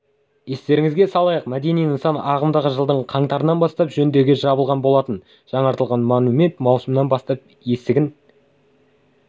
естеріңізге салайық мәдени нысан ағымдағы жылдың қаңтарынан бастап жөндеуге жабылған болатын жаңартылған монумент маусымнан бастап есігін